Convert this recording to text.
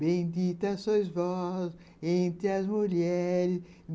Bendita sois vós entre as mulheres.